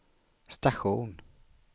station